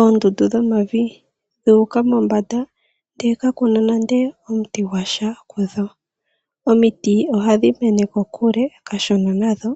Oondundu dhomavi dhuuka mombanda ndee kakuna nande omuti gwasha kudho. Omiti ohadhi mene kokule kashona nadho,